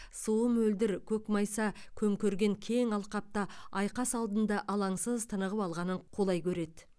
суы мөлдір көкмайса көмкерген кең алқапта айқас алдында алаңсыз тынығып алғанын қолай көреді